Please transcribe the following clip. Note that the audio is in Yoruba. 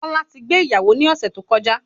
Kọ́lá ti gbé ìyàwó ní ọ̀sẹ̀ tó kọjá